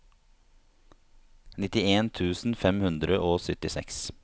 nittien tusen fem hundre og syttiseks